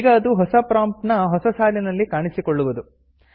ಈಗ ಅದು ಹೊಸ ಪ್ರಾಂಪ್ಟ್ ನ ಹೊಸ ಸಾಲಿನಲ್ಲಿ ಕಾಣಿಸಿಕೊಳ್ಳುವುದು